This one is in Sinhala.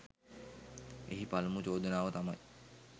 එහි පළමු චෝදනාව තමයි